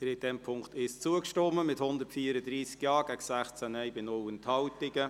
Sie haben dem Punkt 1 zugestimmt, mit 134 Ja- gegen 16 Nein-Stimmen bei 0 Enthaltungen.